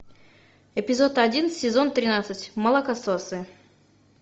эпизод один сезон тринадцать молокососы